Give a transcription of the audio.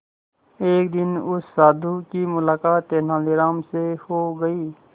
एक दिन उस साधु की मुलाकात तेनालीराम से हो गई